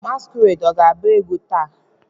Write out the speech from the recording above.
Masquerade ga-agba egwu taa?